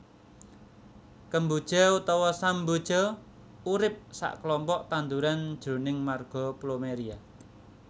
Kemboja utawa samboja arupa saklompok tanduran jroning marga Plumeria